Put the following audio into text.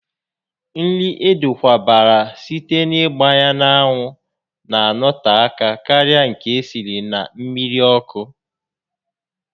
Nri edokwabara site n'ịgba n'anwụ na anọte aka karịa nke esiri na mmiri ọkụ